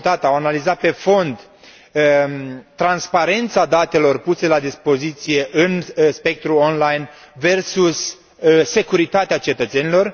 analizat pe fond transparența datelor puse la dispoziție în spectrul online versus securitatea cetățenilor.